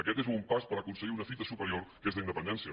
aquest és un pas per aconseguir una fita superior que és la independència